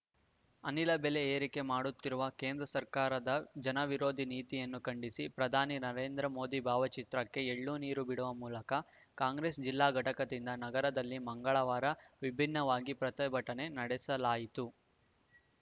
ಅನಿಲ ಬೆಲೆ ಏರಿಕೆ ಮಾಡುತ್ತಿರುವ ಕೇಂದ್ರ ಸರ್ಕಾರದ ಜನ ವಿರೋಧಿ ನೀತಿಯನ್ನು ಖಂಡಿಸಿ ಪ್ರಧಾನಿ ನರೇಂದ್ರ ಮೋದಿ ಭಾವಚಿತ್ರಕ್ಕೆ ಎಳ್ಳುನೀರು ಬಿಡುವ ಮೂಲಕ ಕಾಂಗ್ರೆಸ್‌ ಜಿಲ್ಲಾ ಘಟಕದಿಂದ ನಗರದಲ್ಲಿ ಮಂಗಳವಾರ ವಿಭಿನ್ನವಾಗಿ ಪ್ರತ ಭಟನೆ ನಡೆಸಲಾಯಿತು